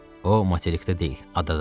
O materikdə deyil, adadadır.